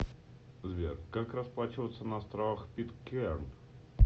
сбер как расплачиваться на островах питкэрн